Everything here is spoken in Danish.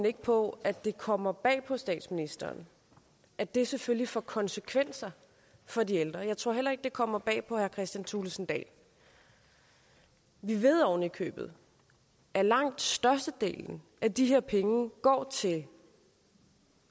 ikke på at det kommer bag på statsministeren at det selvfølgelig får konsekvenser for de ældre jeg tror heller ikke at det kommer bag på herre kristian thulesen dahl vi ved ovenikøbet at langt størstedelen af de her penge går til